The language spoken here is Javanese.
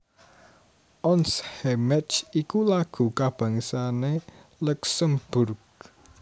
Ons Hémécht iku lagu kabangsané Luksemburg